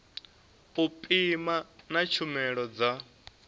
u pima na tshumelo dza